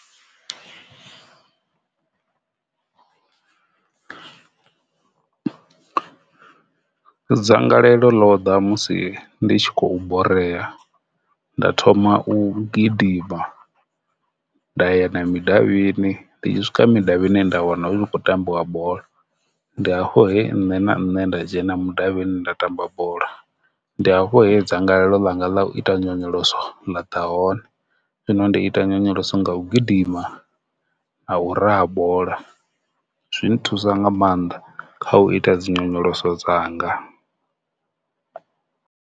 Dzangalelo ḽo ḓa musi ndi tshi khou borea nda thoma u gidima nda ya na mudavhini ndi i swika mudavhini nda wana u khou tambiwa bola ndi hafho he nṋe na nṋe nda dzhena mudavhini nda tamba bola ndi afho he dzangalelo ḽa nga ḽa u ita ḽa ḓa hone, zwino ndi ita nyonyoloso nga u gidima na u raha bola zwi thusa nga maanḓa kha u ita dzi nyonyoloso dzanga.